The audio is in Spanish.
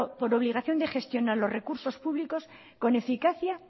por obligación de gestionar los recursos públicos con eficacia